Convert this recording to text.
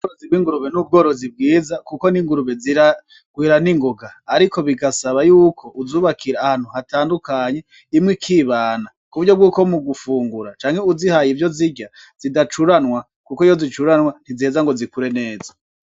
Ubworozi bw'ingurube n'ubworozi bwiza kuko n'ingurube ziragwira ningoga, ariko birasaba yuko uzubakira ahantu hatandukanye imwe ikibana, kuburyo bwuko mugufungura canke uzihaye ivyo zirya zidacuranwa kuko iyo zicuranywe ntiziheza zikure neza.